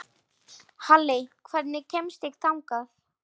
Halley, hvernig kemst ég þangað?